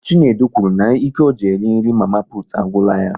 Chinedu kwuru n'ike ọ ji eri nri mama putu agwụla ya